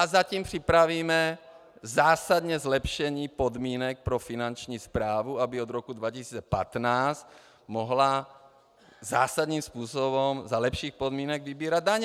A zatím připravíme zásadní zlepšení podmínek pro finanční správu, aby od roku 2015 mohla zásadním způsobem za lepších podmínek vybírat daně.